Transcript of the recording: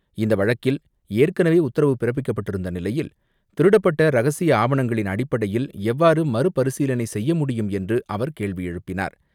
இந்த வழக்கில் ஏற்கனவே உத்தரவு பிறப்பிக்கப்பட்டிருந்த நிலையில், திருடப்பட்ட ரகசிய ஆவணங்களின் அடிப்படையில் எவ்வாறு மறுபரிசீலனை செய்ய முடியும் என்று அவர் கேள்வி எழுப்பினார்.